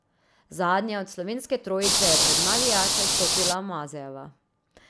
Zadnja od slovenske trojice je pred navijače stopila Mazejeva.